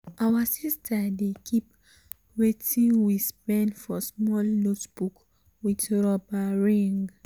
our sister dey keep watin we um spend for small notebook with rubber ring. um